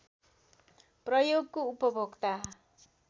प्रयोगको उपभोक्ता